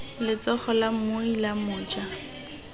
letsogo la moja la mmui